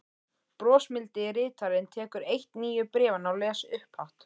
Brosmildi ritarinn tekur eitt nýju bréfanna og les upphátt